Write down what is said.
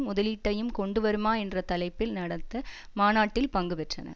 முதலீட்டையும் கொண்டு வருமா என்ற தலைப்பில் நடத்த மாநாட்டில் பங்கு பெற்றன